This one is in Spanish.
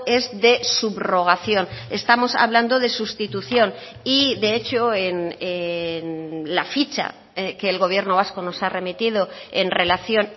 es de subrogación estamos hablando de sustitución y de hecho en la ficha que el gobierno vasco nos ha remitido en relación